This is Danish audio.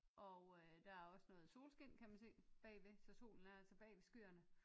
Og øh der er også noget solskin kan man se bagved så solen er altså bag ved skyerne